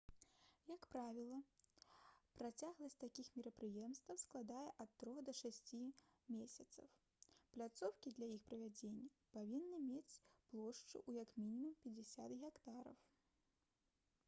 як правіла працягласць такіх мерапрыемстваў складае ад трох да шасці месяцаў пляцоўкі для іх правядзення павінны мець плошчу ў як мінімум 50 гектараў